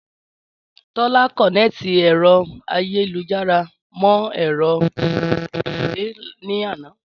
Tọ́lá kọ̀nẹ́ẹ́tì ẹ̀rọ ayélujára mọ ẹ̀rọ ìtẹ̀wé ní àná